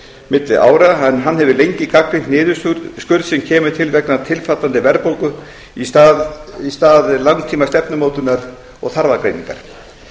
milli ára en hann hefur lengi gagnrýnt niðurskurð sem kemur til vegna tilfallandi verðbólgu í stað langímastefnumótunar og þarfagreiningar